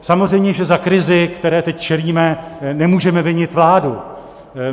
Samozřejmě že za krizi, které teď čelíme, nemůžeme vinit vládu.